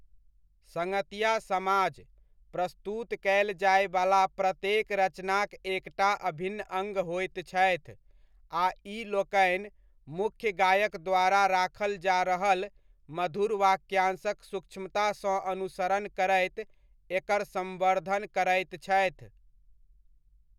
सङ्गतिया समाज, प्रस्तुत कयल जायवला प्रत्येक रचनाक एकटा अभिन्न अङ्ग होइत छथि आ ई लोकनि मुख्य गायक द्वारा राखल जा रहल मधुर वाक्यांशक सूक्ष्मतासँ अनुसरण करैत एकर सम्वर्धन करैत छथि।